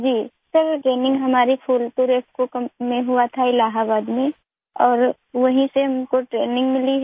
जी sir training हमारी Phulpur IFFCO company में हुआ था इलाहाबाद में और वहीं से हमको ट्रेनिंग मिली है